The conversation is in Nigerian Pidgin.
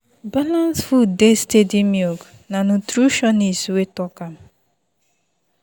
balanced food dey steady milk na nutritionist wey talk am.